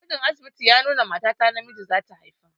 Gwajin asibiti ya nuna mata ta namiji zata haifa.